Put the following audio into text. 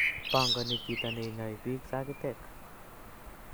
Pangani chito neinyoi biik sagitek